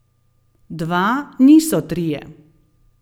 Dva niso trije.